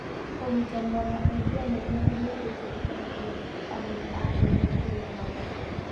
Kũnyitanĩra na endia nene nĩ gũteithagia arĩmi a terere kũgĩa na thoko njega.